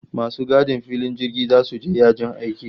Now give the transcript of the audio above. Masu gadin filin jirgi zasu je yajin aiki